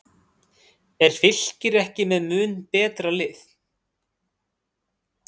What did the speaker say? Er Fylkir ekki með mun betra lið?